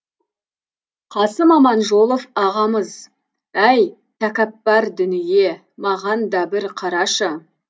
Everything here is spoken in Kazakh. қасым аманжолов ағамыз әй тәкаппар дүние маған да бір қарашы